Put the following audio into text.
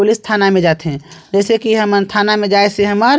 police थाना में जाथे जइसे की थाना में जाय से हमर--